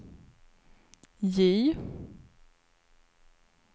J